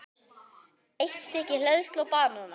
Eitt stykki hleðslu og banana.